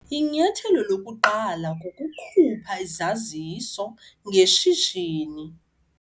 Inyathelo lokuqala kukhupha izaziso ngeshishini.